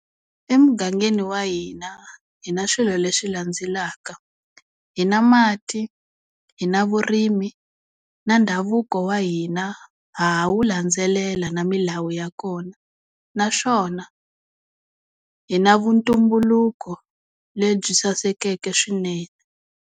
Emugangeni wa hina hi na swilo leswi landzelaka, hi na mati, hi na vurimi na ndhavuko wa hina ha ha wu landzelela na milawu ya kona naswona hi na vuntumbuluko lebyi sasekeke swinene.